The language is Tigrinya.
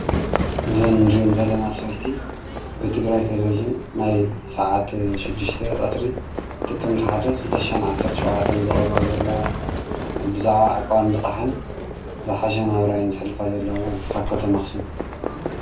እዘን እንሪአን ዘለና ሰበይቲ ብትግራይ ቴሌቭዥን ናይ ሰዓት ሽድሽተ ቀትሪ ጥቅምቲ ሓደ ክልተ ዝሓሸ ዓሰርተ ሸውዓተ ዘቅርብኦዘመሓልልፋ ዘለዋ።